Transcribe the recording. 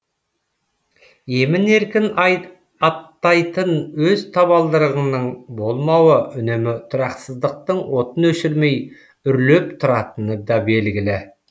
емін еркін аттайтын өз табалдырығыңның болмауы үнемі тұрақсыздықтың отын өшірмей үрлеп тұратыны да белгілі